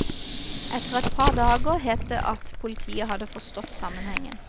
Etter et par dager het det at politiet hadde forstått sammenhengen.